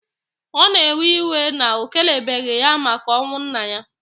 O na ewe iwe na o kelebeghi ya maka onwu nna ya.